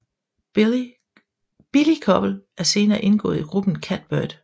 Billie Koppel er senere indgået i gruppen Catbird